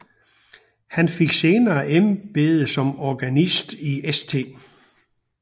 Han fik senere embede som organist i St